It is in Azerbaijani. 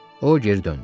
O, geri döndü.